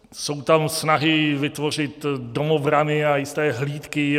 Jsou tam snahy vytvořit domobrany a jisté hlídky.